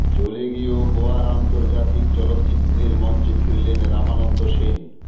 চলে গিয়েও গোয়ার আন্তর্জাতিক চলচ্চিত্রের মঞ্চে ফিরলেন রামানন্দ সেন